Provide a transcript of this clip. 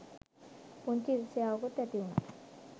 පුංචි ඉරිසියාවකුත් ඇතිවුනා.